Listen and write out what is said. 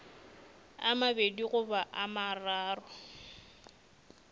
a mabedi goba a mararo